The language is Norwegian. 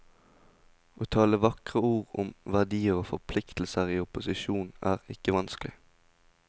Å tale vakre ord om verdier og forpliktelser i opposisjon, er ikke vanskelig.